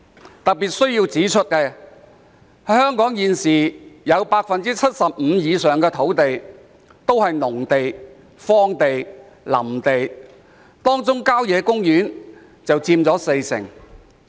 我特別希望指出，香港現時有 75% 以上的土地是農地、荒地或林地，當中郊野公園佔全港土地面積約四成。